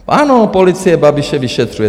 Ano, policie Babiše vyšetřuje.